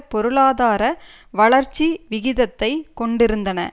பொருளாதார வளர்ச்சி விகிதத்தை கொண்டிருந்தன